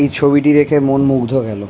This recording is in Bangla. এই ছবিটি দেখে মন মুগ্ধ হয়ে গেল।